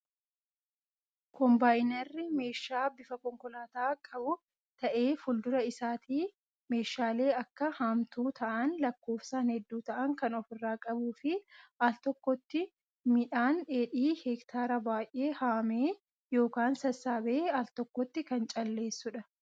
Kombaayinarri meeshaa bifa konkolaataa qabu, ta'ee fuldura isaatii meeshaalee akka haamtuu ta'an lakkoofsaan hedduu ta'an kan ofirraa qabuu fi al tokkotti midhaan dheedhii heektaara baayyee haamee yookaan sassaabee al tokkotti kan calleessudha.